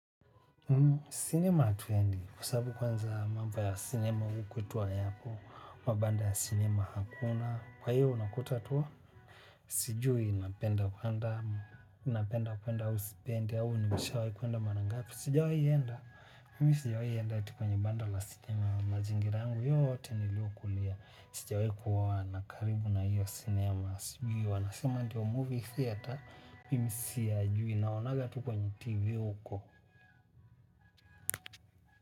Sinema hatuendi. Kwa sababu kwanza mambo ya sinema huku kwetu hayapo, mabanda ya sinema hakuna, kwa hiyo unakuta tu? Sijui napenda kuenda, napenda kuenda au sipendi au nimeshawai kuenda mara ngapi. Sijawi enda. Mimi sijaienda kwenye banda la sinema mazingira yangu yote niliyokulia. Sijawai kuwa na karibu na hiyo sinema. Sijui wanasema ndio movie theater. Mimi siyajui naonaga tu kwenye tv huko.